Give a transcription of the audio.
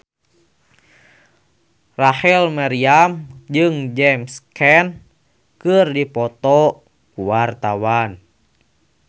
Rachel Maryam jeung James Caan keur dipoto ku wartawan